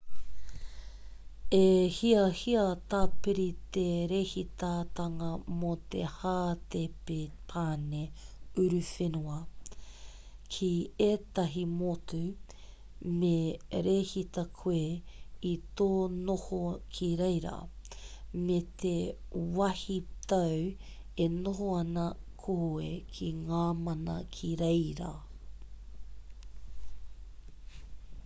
he hiahia tāpiri te rēhitatanga mō te hātepe pane uruwhenua ki ētahi motu me rēhita koe i tō noho ki reira me te wāhitau e noho ana koe ki ngā mana ki reira